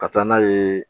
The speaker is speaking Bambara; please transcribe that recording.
Ka taa n'a ye